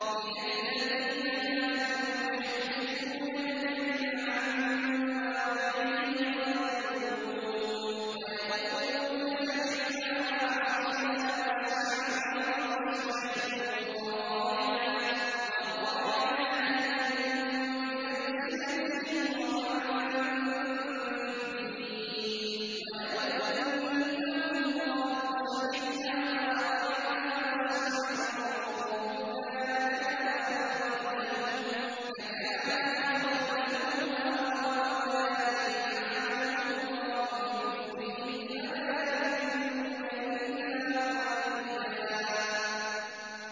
مِّنَ الَّذِينَ هَادُوا يُحَرِّفُونَ الْكَلِمَ عَن مَّوَاضِعِهِ وَيَقُولُونَ سَمِعْنَا وَعَصَيْنَا وَاسْمَعْ غَيْرَ مُسْمَعٍ وَرَاعِنَا لَيًّا بِأَلْسِنَتِهِمْ وَطَعْنًا فِي الدِّينِ ۚ وَلَوْ أَنَّهُمْ قَالُوا سَمِعْنَا وَأَطَعْنَا وَاسْمَعْ وَانظُرْنَا لَكَانَ خَيْرًا لَّهُمْ وَأَقْوَمَ وَلَٰكِن لَّعَنَهُمُ اللَّهُ بِكُفْرِهِمْ فَلَا يُؤْمِنُونَ إِلَّا قَلِيلًا